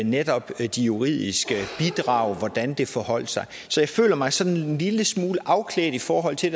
netop de juridiske bidrag altså hvordan det forholdt sig så jeg føler mig sådan en lille smule afklædt i forhold til